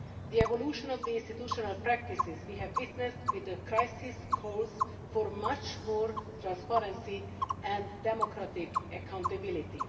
The evolution of the institutional practices we have witnessed with the crisis calls for much more transparency and democratic accountability.